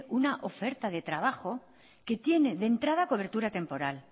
una oferta de trabajo que tiene de entrada cobertura temporal